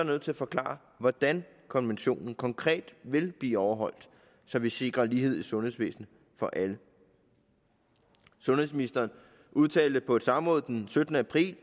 nødt til at forklare hvordan konventionen konkret vil blive overholdt så vi sikrer lighed i sundhedsvæsenet for alle sundhedsministeren udtalte på et samråd den syttende april